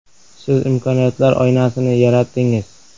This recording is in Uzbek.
“Siz imkoniyatlar oynasini yaratdingiz.